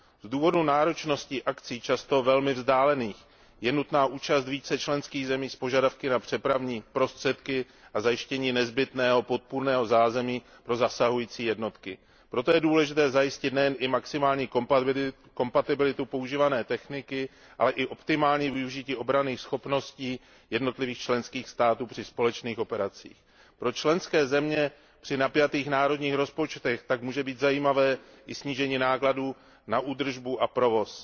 Z důvodu náročnosti akcí, často velmi vzdálených, je nutná účast více členských zemí s požadavky na přepravní prostředky a zajištění nezbytného podpůrného zázemí pro zasahující jednotky. Proto je důležité zajistit nejen maximální kompatibilitu používané techniky, ale i optimální využití obranných schopností jednotlivých členských států při společných operacích. Pro členské země při napjatých národních rozpočtech tak může být zajímavé i snížení nákladů na údržbu a provoz.